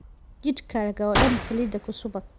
Jidhkaaga oo dhan saliid ku subag.